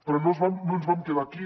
però no ens vam quedar aquí